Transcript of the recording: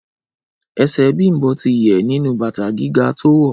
Ẹsẹ̀ Bím̀bọ́ ti yẹ̀ nínú bàtà gíga tó wọ̀